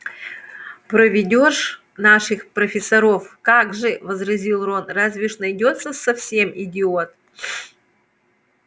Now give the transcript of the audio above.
проведёшь наших профессоров как же возразил рон разве уж найдётся совсем идиот